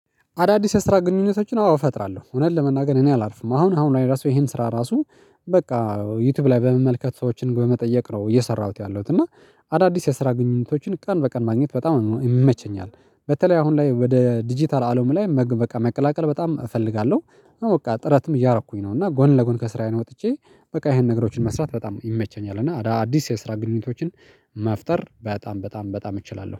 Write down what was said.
አዳዲስ የስራ ግንኙነቶችን አዎ እፈጥራለሁ፤ እውነት ለመናገር እኔ አላርፍም። አሁን አሁን ላይ ራሱ ይሄን ስራ ራሱ በቃ ዩትዩብ ላይ በመመልከት ሰዎችን ግን በመጠየቅ ነው እየሰራሁት ያለሁት፤ እና አዳዲስ የስራ ግንኙነቶችን ቀን በቀን ማግኘት በጣም ነው ይመቸኛል። በተለይ አሁን ላይ ወደ ዲጂታል አለሙ ላይ መግ መቃ መቀላቀል በጣም እፈልጋለሁ። አዎ በቃ ጥረትም እያረኩኝ ነው፤ እና ጎን ለጎን ከስራዬ ነው ወጥቼ በቃ ይሄን ነገሮችን መስራት በጣም ይመቸኛል። እና አዳዲስ የስራ ግንኙነቶችን መፍጠር በጣም በጣም በጣም እችላለሁ።